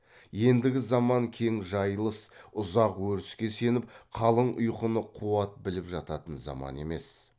ендігі заман кең жайылыс ұзақ өріске сеніп қалың ұйқыны қуат біліп жататын заман емес